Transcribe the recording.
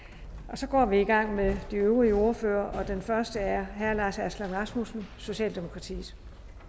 så går vi i gang med de øvrige ordførere og den første er herre lars aslan rasmussen socialdemokratiet